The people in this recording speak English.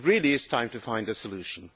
It really is time to find a solution.